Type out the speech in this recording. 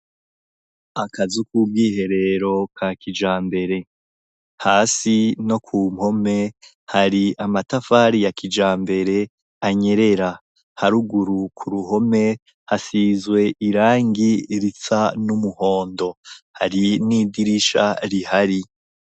Akazi k'ubwiherero ka kijambere hasi no ku mpome hari amatafari ya kijambere anyerera, haruguru ku ruhome hasizwe irangi risa n'umuhondo, hari n'idirisha rihari.